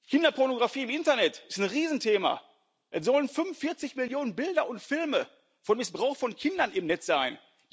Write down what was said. Kinderpornografie im Internet ist ein Riesenthema, es sollen 45 Millionen Bilder und Filme von Missbrauch von Kindern im Netz sein